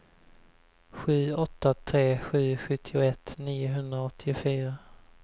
sju åtta tre sju sjuttioett niohundraåttiofyra